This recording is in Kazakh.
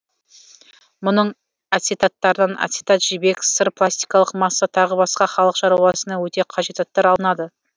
мұның ацетаттарынан ацетат жібек сыр пластикалық масса тағы басқа халық шаруасына өте қажет заттар алынады